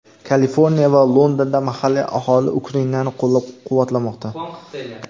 Kaliforniya va Londonda mahalliy aholi Ukrainani qo‘llab-quvvatlamoqda.